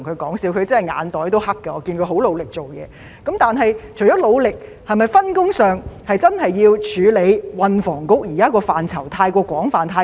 但是，除了官員努力工作，在分工上，政府是否真的要處理運房局現在工作範疇太多又太廣泛的問題呢？